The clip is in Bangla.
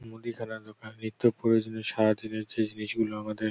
মুদিখানার দোকান। নিত্য প্রয়োজনীয় সারাদিনের যে জিনিসগুলো আমাদের--